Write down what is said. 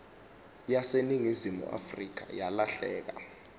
yaseningizimu afrika yalahleka